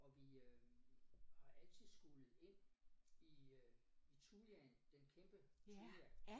Og vi øh har altid skullet ind i øh i thujaen den kæmpe thuja